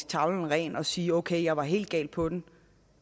tavlen ren og sige ok jeg var helt galt på den